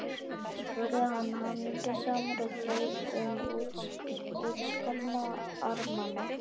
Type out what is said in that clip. spurði hann hamingjusamur og greip um útskorna armana.